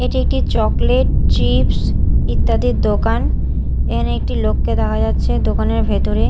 এটি একটি chocolate chips ইত্যাদির দোকান এখানে একটি লোককে দেখা যাচ্ছে দোকানের ভেতরে।